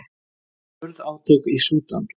Hörð átök í Súdan